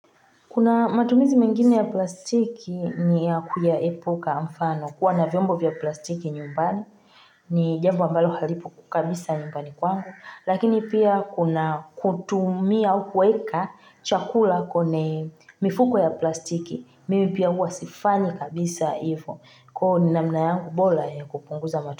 Kuna matumizi mengine ya plastiki niya kuyaepuka mfano, kuwa na vyombo vya plastiki nyumbani, ni jambo ambalo halipo kabisa nyumbani kwangu, lakini pia kuna kutumia au kueka chakula kwenye mifuko ya plastiki, mimi pia huwa sifanyi kabisa hivyo, ko ni namna yangu bola ya kupunguza matumizi.